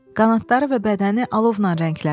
Qanadları və bədəni alovla rənglənib.